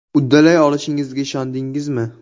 Uddalay olishingizga ishondingizmi?